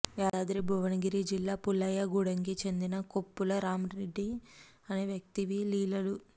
యాదాద్రి భువనగిరి జిల్లా పుల్లాయగూడెంకు చెందిన కొప్పుల రాంరెడ్డి అనే వ్యక్తివీ లీలలు